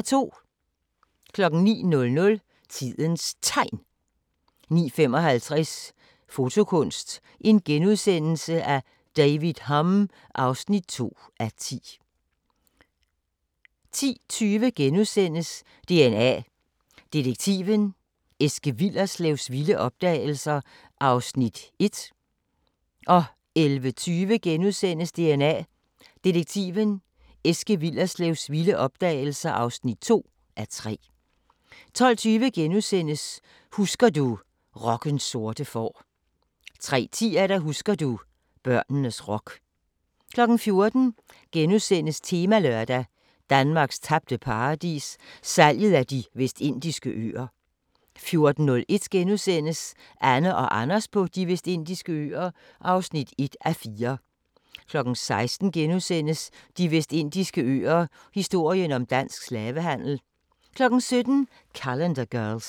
09:00: Tidens Tegn 09:55: Fotokunst: David Hurn (2:10)* 10:20: DNA Detektiven – Eske Willerslevs vilde opdagelser (1:3)* 11:20: DNA Detektiven – Eske Willerslevs vilde opdagelser (2:3)* 12:20: Husker du – Rockens sorte får * 13:10: Husker du - børnenes rock 14:00: Temalørdag: Danmarks tabte paradis – salget af De Vestindiske Øer * 14:01: Anne & Anders på De Vestindiske Øer (1:4)* 16:00: De Vestindiske Øer - historien om dansk slavehandel * 17:00: Calendar Girls